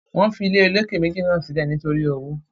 wọ́n fi ilé olókè méjì náà sílẹ̀ nítorí owó.